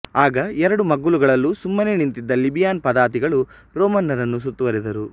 ಆಗ ಎರಡು ಮಗ್ಗಲುಗಳಲ್ಲೂ ಸುಮ್ಮನೆ ನಿಂತಿದ್ದ ಲಿಬಿಯನ್ ಪದಾತಿಗಳು ರೋಮನರನ್ನು ಸುತ್ತುವರಿದರು